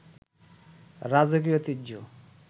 রাজকীয় ঐতিহ্য